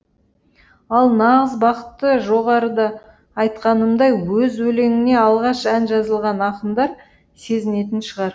ал нағыз бақытты жоғарыда айтқанымдай өз өлеңіңе алғаш ән жазылған ақындар сезінетін шығар